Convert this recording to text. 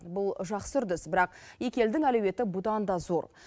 бұл жақсы үрдіс бірақ екі елдің әлеуеті бұдан да зор